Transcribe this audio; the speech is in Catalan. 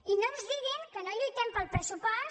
i no ens diguin que no lluitem pel pressupost